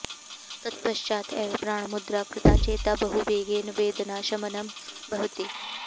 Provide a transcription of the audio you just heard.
तत्पश्चात् एव प्राणमुद्रा कृता चेत् बहु वेगेन वेदनाशमनं भवति